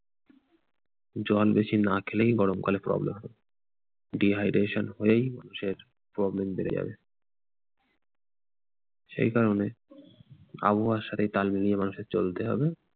জল বেশি না খেলেই গরমকালে problem হবে। dehydration হয়েই মানুষের problem বেড়ে যাবে। সেই কারণে আবহাওয়ার সাথে তাল মিলিয়ে মানুষের চলতে হবে।